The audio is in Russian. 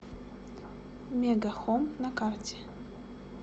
мега хом на карте